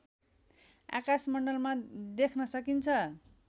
आकाशमण्डलमा देख्न सकिन्छ